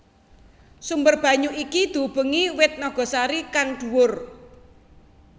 Sumber banyu iki diubengi wit nagasari kang dhuwur